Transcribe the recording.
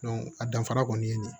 a danfara kɔni ye